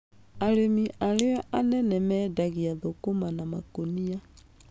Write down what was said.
Arĩmi arĩa a nene mendagia thũkũma na makũnia.